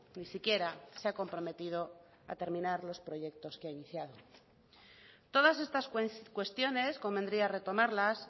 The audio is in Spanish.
ni siquiera se ha comprometido a terminar los proyecto que ha iniciado todas estas cuestiones convendría retomarlas